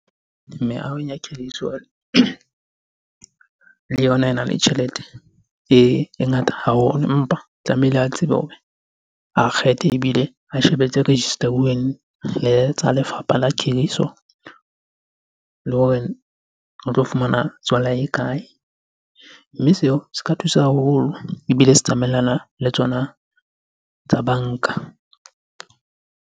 Meahong ya khiriso le yona ena le tjhelete e ngata haholo. Empa tlamehile a tsebe hore a kgethe ebile a shebe tse register-uweng le tsa lefapha la khiriso le hore re tlo fumana tswala e kae? Mme seo se ka thusa haholo ebile se tsamaellana le tsona tsa banka.